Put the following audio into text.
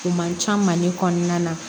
O man ca mali kɔnɔna na